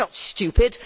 We are not stupid.